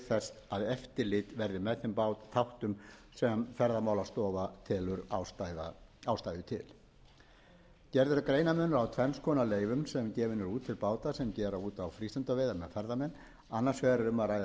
þess að eftirlit verði með þeim þáttum sem ferðamálastofa telur ástæðu til gerður er greinarmunur á tvenns konar leyfum sem gefin eru út til báta sem gera út á frístundaveiðar með ferðamenn annars vegar er um að ræða leyfi til